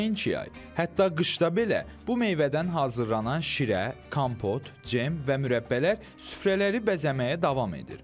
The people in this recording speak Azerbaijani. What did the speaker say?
Nəinki yay, hətta qışda belə bu meyvədən hazırlanan şirə, kompot, cem və mürəbbələr süfrələri bəzəməyə davam edir.